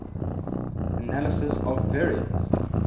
analysis of variance